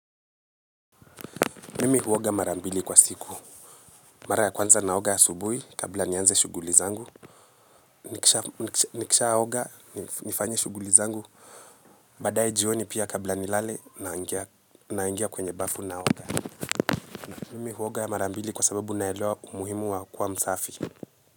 Mimi huoga mara mbili kwa siku. Mara ya kwanza naoga asubuhi kabla nianze shughuli zangu. Nikishaoga nifanye shughuli zangu. Baadaye jioni pia kabla nilale naingia kwenye bafu naoga. Mimi huoga mara mbili kwa sababu naelewa umuhimu wa kuwa msafi.